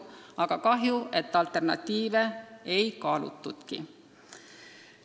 Väga kahju, et alternatiive ei kaalutudki.